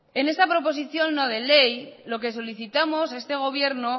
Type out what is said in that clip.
en esta proposición no de ley lo que solicitamos a este gobierno